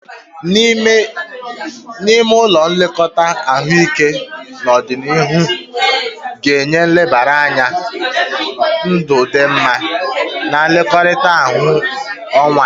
N'ime ụlọ nlekọta ahụike n'ọdịnihu ga-enye nlebara anya ndụ dị mma na nlekọta ahaziri onwe ya.